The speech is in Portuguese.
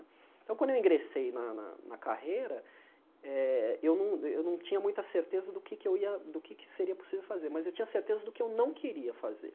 Então, quando eu ingressei na na na carreira eh, eu não eu não tinha muita certeza do que é que eu ia do que seria possível fazer, mas eu tinha certeza do que eu não queria fazer.